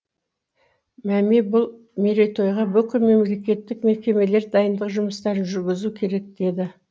мәми бұл мерейтойға бүкіл мемлекеттік мекемелер дайындық жұмыстарын жүргізу керек деді